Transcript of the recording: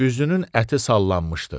Üzünün əti sallanmışdı.